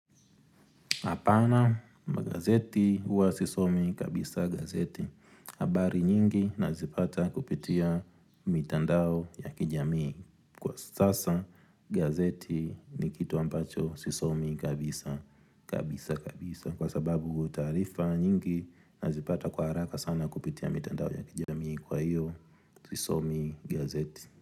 Apana, magazeti huwa sisomi kabisa gazeti. Habari nyingi nazipata kupitia mitandao ya kijamii kwa sasa gazeti ni kitu ambacho sisomi kabisa kabisa kabisa. Kwa sababu taarifa nyingi nazipata kwa haraka sana kupitia mitandao ya kijamii kwa iyo sisomi gazeti.